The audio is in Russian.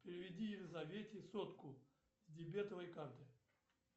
переведи елизавете сотку с дебетовой карты